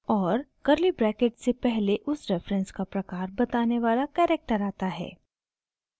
और curly bracket से पहले उस रेफरेन्स का प्रकार बताने वाला कैरेक्टर आता है